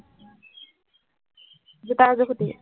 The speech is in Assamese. জোতা এযোৰ খুজিবি